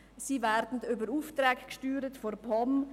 Sie werden über Aufträge der POM gesteuert.